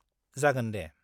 जागोन दे।